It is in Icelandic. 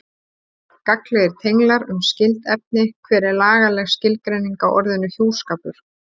Gagnlegir tenglar um skyld efni Hver er lagaleg skilgreining á orðinu hjúskapur?